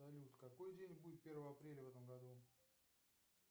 салют какой день будет первого апреля в этом году